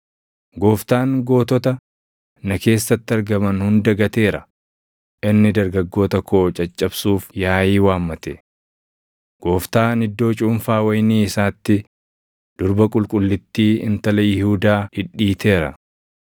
“Gooftaan gootota na keessatti argaman hunda gateera; inni dargaggoota koo caccabsuuf yaaʼii waammate. Gooftaan iddoo cuunfaa wayinii isaatti Durba Qulqullittii Intala Yihuudaa dhidhiiteera.